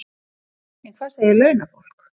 En hvað segir launafólk?